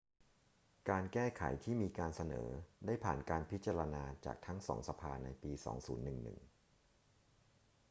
การแก้ไขที่มีการเสนอได้ผ่านการพิจารณาจากทั้งสองสภาในปี 2011